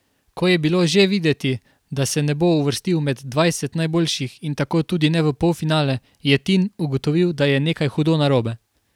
Ko je bilo že videti, da se ne bo uvrstil med dvajset najboljših in tako tudi ne v polfinale, je Tin ugotovil, da je nekaj hudo narobe.